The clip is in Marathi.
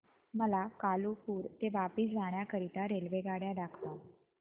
मला कालुपुर ते वापी जाण्या करीता रेल्वेगाड्या दाखवा